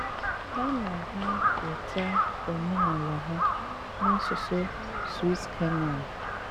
Há ná há wéta óménálá ha ná ásụsụ Swíss-Kényán.